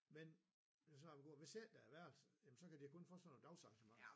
Men det var så om det går hvis ikke der er værelser jamen så kan de kun få sådan noget dagsarrangementer